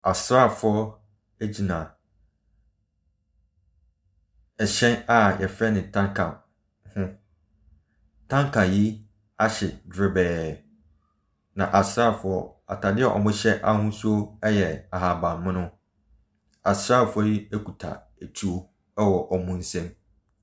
Asraafo no gyina hyɛn a yɛfrɛ ne tanker ho. Tanker yi a hye dwerebɛɛ. Na asraafo yi ataadeɛ a wɔhyɛ ahosuo yɛ ahabanmono. Asraafoɔ yi kita atuo wɔ ɔwn nsa mu.